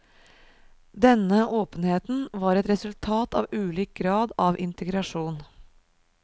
Denne åpenheten var et resultat av ulik grad av integrasjon.